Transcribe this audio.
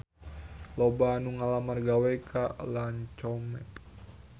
Loba anu ngalamar gawe ka Lancome